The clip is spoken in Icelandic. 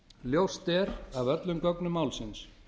ljóst er af öllum gögnum málsins